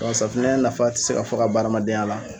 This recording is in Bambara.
Wa safinɛ nafa ti se ka fɔ ka ban adamadenya la